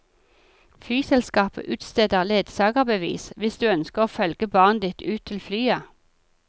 Flyselskapet utsteder ledsagerbevis hvis du ønsker å følge barnet ditt ut til flyet.